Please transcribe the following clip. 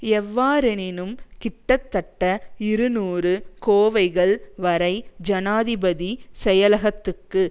எவ்வாறெனினும் கிட்டத்தட்ட இருநூறு கோவைகள் வரை ஜனாதிபதி செயலகத்துக்கு